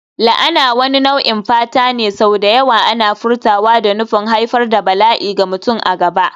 La'ana wani nau'in fata ne, sau da yawa ana furtawa da nufin haifar da bala'i ga mutum a gaba.